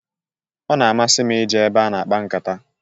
Ọ na-amasi m i je ebe a na-akpa nkata.